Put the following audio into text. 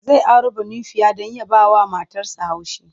Zai auro Banufiya don ya bawa matarsa haushi.